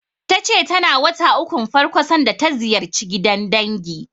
Ta ce tana wata ukun farko sanda ta ziyarci gidan dangi.